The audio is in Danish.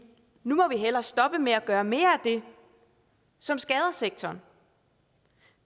nu må vi hellere stoppe med at gøre mere af det som skader sektoren